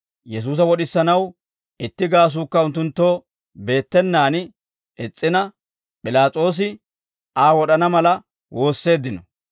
Yesuusa wod'isanaw itti gaasuukka unttunttoo beettenaan is's'ina, P'ilaas'oosi Aa wod'ana mala woosseeddino.